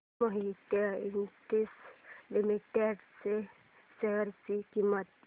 Mohit industries limited च्या share ची किंमत